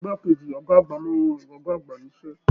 Ìgbà keji ọgá àgbà máa n rọ ọgá àgbà n'isẹ.